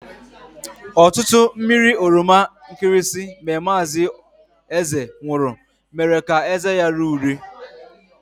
Ọtụtụ mmiri oroma nkịrịsịmee mazi Eze nwuru mere ka eze ya ree ure.